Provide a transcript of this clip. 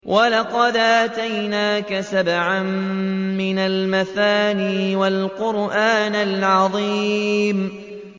وَلَقَدْ آتَيْنَاكَ سَبْعًا مِّنَ الْمَثَانِي وَالْقُرْآنَ الْعَظِيمَ